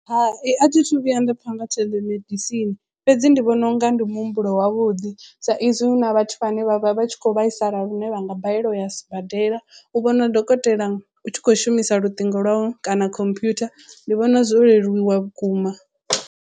Hai a thithu vhuya nda pfha nga theḽemedisini fhedzi ndi vhona unga ndi muhumbulo wavhuḓi sa izwi hu na vhathu vhane vha vha vha tshi kho vhaisala lune vhanga balelwa u ya sibadela u vhona dokotela u tshi kho shumisa luṱingo lwau kana computer ndi vhona zwo leluwa vhukuma.